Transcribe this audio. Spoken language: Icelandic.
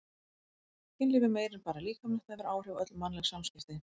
Kynlíf er meira en bara líkamlegt, það hefur áhrif á öll mannleg samskipti.